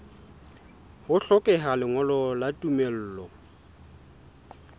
ho hlokeha lengolo la tumello